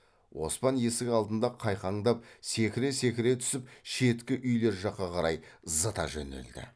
оспан есік алдында қайқаңдап секіре секіре түсіп шеткі үйлер жаққа қарай зыта жөнелді